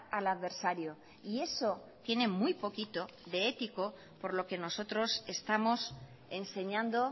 al adversario y eso tiene muy poquito de ético por lo que nosotros estamos enseñando